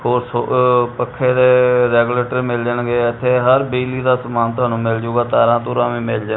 ਪੱਖੇ ਦੇ ਰੈਗੂਲੇਟਰ ਮਿਲ ਜਾਣਗੇ ਇੱਥੇ ਹਰ ਬਿਜਲੀ ਦਾ ਸਮਾਨ ਤੁਹਾਨੂੰ ਮਿਲ ਜਊਗਾ ਤਾਰਾਂ ਤੂਰਾਂ ਵੀ ਮਿਲ ਜਾ--